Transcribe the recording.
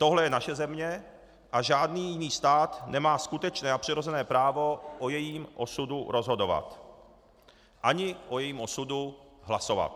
Tohle je naše země a žádný jiný stát nemá skutečné a přirozené právo o jejím osudu rozhodovat ani o jejím osudu hlasovat.